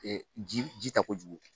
Ji ta kojugu